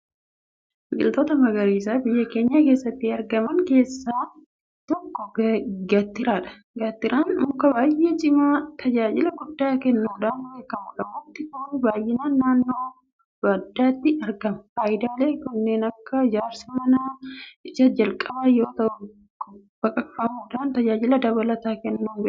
Biqiltoota magariisaa biyya keenya keessatti argaman keessaa tokko Gaattiraadha. Gaattiraan muka baay'ee cimaa tajaajila guddaa kennuudhaan beekamudha. Mukti kun baay'inaan naannoo baddaatti argama. Faayidaalee kanneen akka ijaarsa manaa isa jalqabaa yoota'u baqaqfamuudhaanis tajaajila dabalataa kennuudhaan beekama.